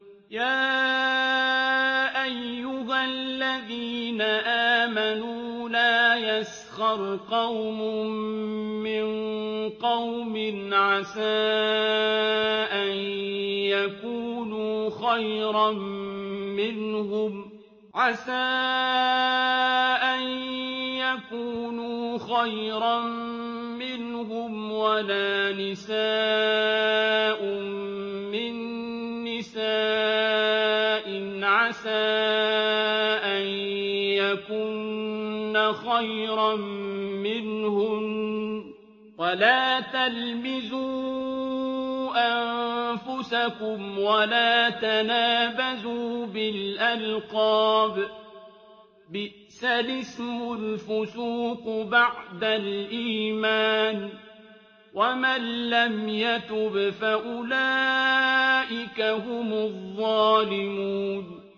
يَا أَيُّهَا الَّذِينَ آمَنُوا لَا يَسْخَرْ قَوْمٌ مِّن قَوْمٍ عَسَىٰ أَن يَكُونُوا خَيْرًا مِّنْهُمْ وَلَا نِسَاءٌ مِّن نِّسَاءٍ عَسَىٰ أَن يَكُنَّ خَيْرًا مِّنْهُنَّ ۖ وَلَا تَلْمِزُوا أَنفُسَكُمْ وَلَا تَنَابَزُوا بِالْأَلْقَابِ ۖ بِئْسَ الِاسْمُ الْفُسُوقُ بَعْدَ الْإِيمَانِ ۚ وَمَن لَّمْ يَتُبْ فَأُولَٰئِكَ هُمُ الظَّالِمُونَ